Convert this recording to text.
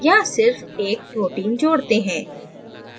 यहाँ सिर्फ एक protein जोड़ते हैं